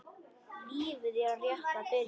Lífið er rétt að byrja.